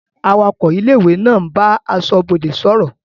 Awakọ̀ ilé-ìwé ń bá aṣọ́bodè sọ̀rọ̀.